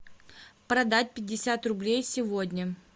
продать пятьдесят рублей сегодня